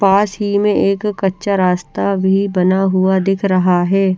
पास ही में एक कच्चा रास्ता बना हुआ दिख रहा हे ।